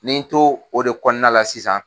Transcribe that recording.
Nin ye n to o de kɔnɔna la sisan